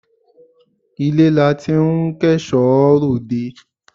Ilé la ti ń kẹ́ṣọ̀ọ́ ròde